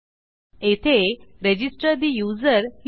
येथे रजिस्टर ठे यूझर लिहू